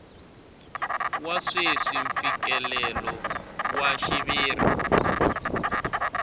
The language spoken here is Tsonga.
wa sweswi mfikelelo wa xiviri